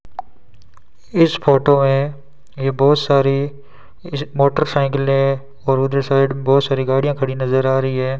इस फोटो में ये बहुत सारी मोटरसाइकिलें और उधर की साइड बहोत सारी गाड़ियां नजर आ रही हैं।